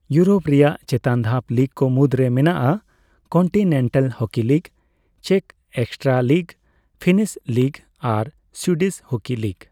Europe ᱨᱮᱭᱟᱜ ᱪᱮᱛᱟᱱ ᱫᱷᱟᱯ ᱞᱤᱜᱽᱠᱚ ᱢᱩᱫᱽᱨᱮ ᱢᱮᱱᱟᱜᱼᱟ ᱠᱚᱱᱴᱤᱱᱮᱱᱴᱟᱞ ᱦᱚᱠᱤ ᱞᱤᱜᱽ, ᱪᱮᱠ ᱮᱠᱥᱴᱨᱟᱞᱤᱜᱽ, ᱯᱷᱤᱱᱤᱥ ᱞᱤᱜᱟ ᱟᱨ ᱥᱩᱭᱰᱤᱥ ᱦᱩᱠᱤ ᱞᱤᱜᱽ᱾